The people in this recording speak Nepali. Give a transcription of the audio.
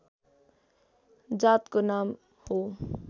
जातको नाम हो